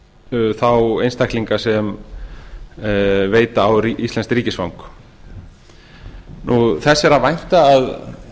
um þá einstaklinga sem veita á íslenskt ríkisfang þess er að vænta að